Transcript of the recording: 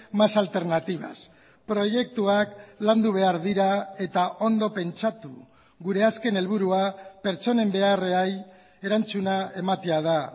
más alternativas proiektuak landu behar dira eta ondo pentsatu gure azken helburua pertsonen beharrei erantzuna ematea da